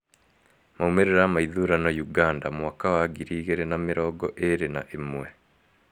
Maumĩrĩra ma ithurano Ũganda mwaka wa ngiri igĩrĩ na mĩrngo ĩrĩ na ĩmwe